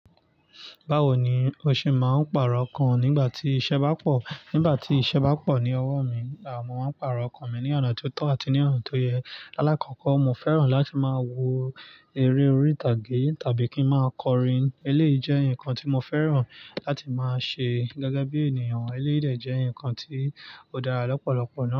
Báwo ni o ṣe máa ń pàrọ̀ ọkàn nígbà tí iṣẹ́ bá pọ̀? Nígbà tí iṣẹ́ bá pọ̀ ní ọwọ́ mi, à mo máa ń pàrọ̀ ọkàn mi ní ọ̀nà tó tọ́ àti ní ọ̀nà tó yẹ. Alákọ̀ọ́kọ́, mo fẹ́ràn láti máa wo eré orí ìtàgé tàbí kí ń máa kọrin. Eléyìí jẹ́ nǹkan tí mo fẹ́ràn láti máa ṣe gẹ́gẹ́ bí ènìyàn. Eléyìí dẹ́ jé ǹkan tí ó dára lọ́pọ̀lọpọ̀ náà.